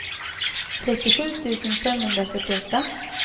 trettiosju tusen femhundrafyrtioåtta